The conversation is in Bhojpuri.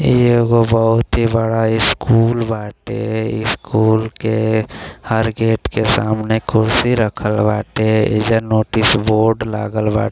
एगो बहुत ही बड़ा स्कूल बाटे स्कूल के हर गेट के सामने कुर्सी रखल बाटे इधर नोटिस बोर्ड लागल बा--